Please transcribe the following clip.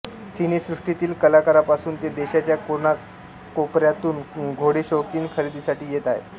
सिनेसृष्टीतील कलाकारांपासून ते देशाच्या कोनाकोपऱ्यातून घोडेशौकीन खरेदीसाठी येत आहेत